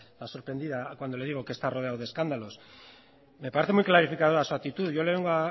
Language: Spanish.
la sorprendida cuando le digo que está rodeado de escándalos me parece muy clarificadora su actitud yo le vengo